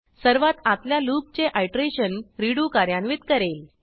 सर्वात आतल्या लूपचे आयटरेशन रेडो कार्यान्वित करेल